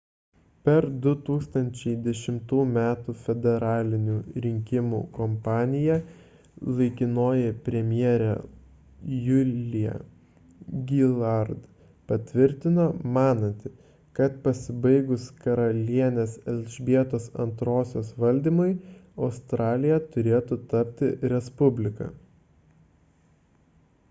per 2010 m federalinių rinkimų kampaniją laikinoji premjerė julia gillard patvirtino mananti kad pasibaigus karalienės elžbietos ii valdymui australija turėtų tapti respublika